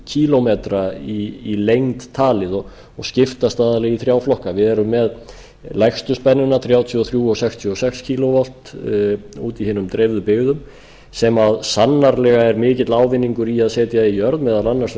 kílómetra í lengd talið og skiptast aðallega í þrjá flokka við erum með lægstu spennuna þrjátíu og þrjú og sextíu og sex kílóvolt úti í hinum dreifðu byggðum sem sannarlega er mikill ávinningur í að setja í jörð meðal annars